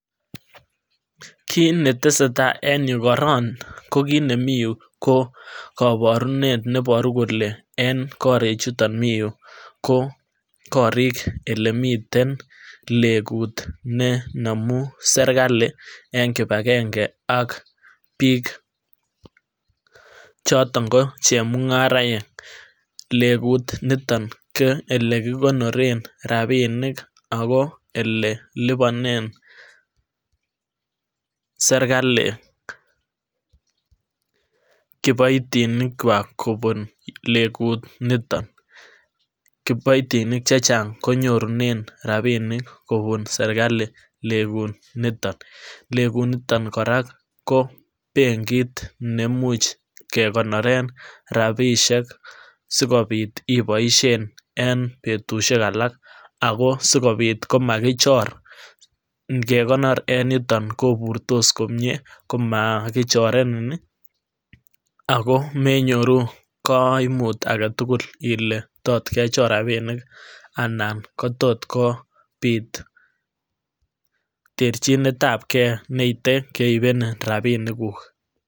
kiit netesatai eng yuu koron kokiit nemii yuu kokoborunet neboru kole en koriik chuton miyuu kokoriik elemiten lengut nenomu serkali eng kibagenge ak biik choton ko chemungaraek lengut niton ko elekikonoren rapinik ako eleliponen serkali kiboitinik kwak kobun lengutniton kiboitinik chechang konyorunen rapinik kobun serkali lengutniton, lenguniton kora ko benkit neimuch kekonoren rapisiek sikobit iboisyen en betusiek alak ako sikobit komakichor ngekonor en yuton koburtos komyee komakichorenin ih ako menyoruu koimuut aketugul ile tot kechor rapiniik anan kotot kobiit terchinet ab kee neite keibenin rapinikuk